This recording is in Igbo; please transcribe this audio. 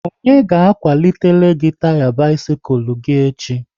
Onye ga akwalitele gị taya bisikul gị echi?